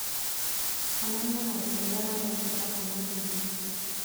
onania maũndũ marĩa marekĩka kuuma k. b. c.